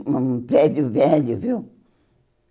um prédio velho, viu?